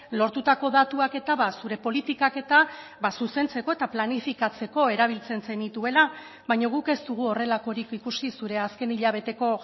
lortutako datuak eta zure politikak eta zuzentzeko eta planifikatzeko erabiltzen zenituela baina guk ez dugu horrelakorik ikusi zure azken hilabeteko